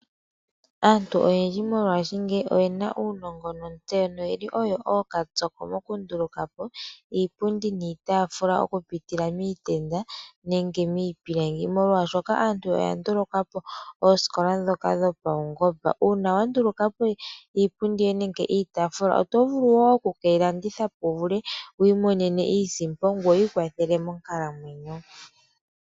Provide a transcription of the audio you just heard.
Aantu oyendji mongashingeyi oyena uunongo notseyo noyeli oyo ookatsoko mokunduluka po iipundi niitaafula oku pitila miitenda nenge miipilangi. Molwashoka aantu oya nduluka po ooskola ndhoka dhopaungomba . Uuna wandulukapo iipundi nenge iitaafula oto vulu woo oku keyi landitha po wu vulu wu imonene iisimpo ngoye wu ikwathele monkalamwenyo.